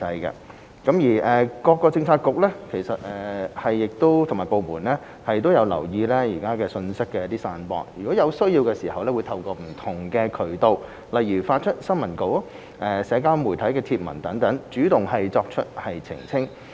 一政府各政策局及部門均有留意信息的散播，而有需要時亦會透過不同渠道，例如發出新聞稿或社交媒體帖文等，主動作出澄清。